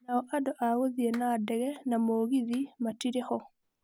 Nao andũ a gũthiĩ na ndege na mũgithi matirĩ-hoo.